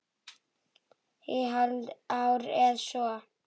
Í hálft ár eða svo.